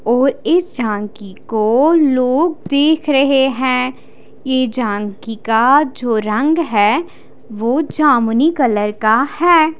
और इस झांकी को लोग देख रहे है यह झांकी का जो रंग है वो जमुनी कलर का है।